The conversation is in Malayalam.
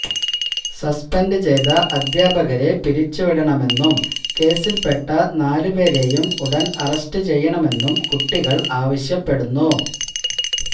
സസ്പെൻഡ് ചെയ്ത അധ്യാപകരെ പിരിച്ചുവിടണമെന്നും കേസിൽ പെട്ട നാല് പേരെയും ഉടൻ അറസ്റ്റ് ചെയ്യണമെന്നും കുട്ടികൾ ആവശ്യപ്പെടുന്നു